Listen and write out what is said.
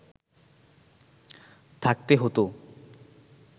থাকতে হতো